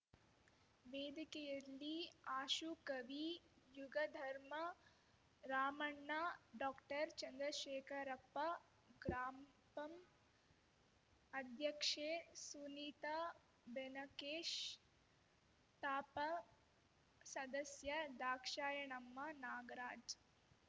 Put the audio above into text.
ವೇದಿಕೆಯಲ್ಲಿ ಆಶು ಕವಿ ಯುಗಧರ್ಮ ರಾಮಣ್ಣ ಡಾಕ್ಟರ್ ಚಂದ್ರಶೇಖರಪ್ಪ ಗ್ರಾಮ್ ಪಂ ಅಧ್ಯಕ್ಷೆ ಸುನೀತ ಬೆನಕೇಶ್ ತಾಪಂ ಸದಸ್ಯ ದಾಕ್ಷಾಯಣಮ್ಮ ನಾಗರಾಜ್‌